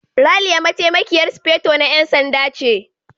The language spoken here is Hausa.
Ralia Mataimakiyar Sufeto na 'Yan Sanda ce.